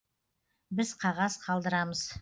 біз қағаз қалдырамыз